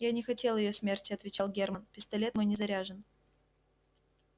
я не хотел её смерти отвечал германн пистолет мой не заряжен